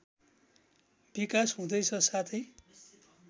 विकास हुँदैछ साथै